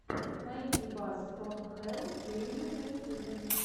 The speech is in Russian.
найди бас фром хэлл геймин на ютюбе